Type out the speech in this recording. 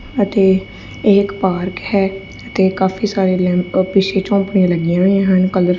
ਅਤੇ ਇਕ ਪਾਰਕ ਹੈ ਤੇ ਕਾਫੀ ਸਾਰੇ ਲੈਂਪ ਪਿੱਛੇ ਝੌਪੜੀਆਂ ਲੱਗੀਆਂ ਹੋਈਆਂ ਹਨ ਕਲਰ--